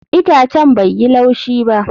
Itacen bai yi laushi ba